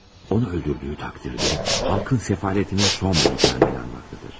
Onu öldürdüyü təqdirdə xalqın səfalətinin son bulacağını inanmaqdadır.